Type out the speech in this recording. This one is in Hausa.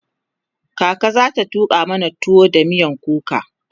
kaka zata tuƙa mana tuwo da miyan kuka